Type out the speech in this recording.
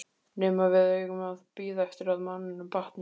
Nema við eigum að bíða eftir að manninum batni!